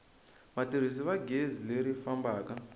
vatirhisi va gezi leri fambaka